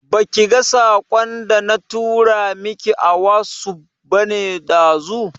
Baki ga saƙon da na tura miki a wasuf bane ɗazu?